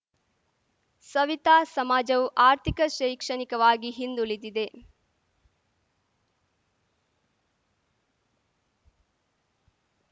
ಸವಿತಾ ಸಮಾಜವು ಆರ್ಥಿಕ ಶೈಕ್ಷಣಿಕವಾಗಿ ಹಿಂದುಳಿದಿದೆ